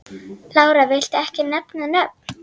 Lára: Viltu ekki nefna nöfn?